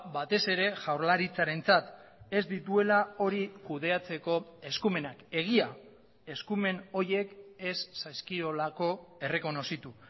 batez ere jaurlaritzarentzat ez dituela hori kudeatzeko eskumenak egia eskumen horiek ez zaizkiolako errekonozitu